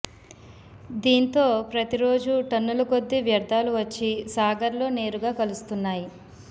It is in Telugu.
దీంతో ప్రతి రోజు టన్ను ల కొద్ది వ్యర్ధాలు వచ్చిసాగర్ లో నేరుగా కలుస్తున్నాయి